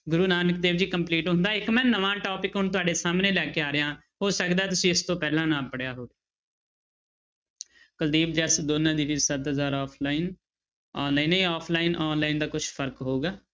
ਗੁਰੂ Nanak Dev ji complete ਹੁੰਦਾ ਇੱਕ ਮੈਂ ਨਵਾਂ topic ਹੁਣ ਤੁਹਾਡੇ ਸਾਹਮਣੇ ਲੈ ਕੇ ਆ ਰਿਹਾਂ ਹੋ ਸਕਦਾ ਤੁਸੀਂ ਇਸ ਤੋਂ ਪਹਿਲਾਂ ਨਾ ਪੜ੍ਹਿਆ ਹੋਵੇ ਕੁਲਦੀਪ ਜਸ offline, online ਇਹ offline online ਦਾ ਕੁਛ ਫ਼ਰਕ ਹੋਊਗਾ।